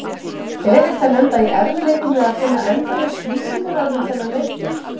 Er hægt að lenda í erfiðleikum með að finna endalaus lýsingarorð um þennan leikmann?